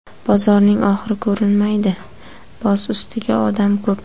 Bozorning oxiri ko‘rinmaydi, boz ustiga, odam ko‘p.